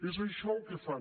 és això el que fan